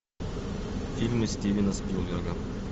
фильмы стивена спилберга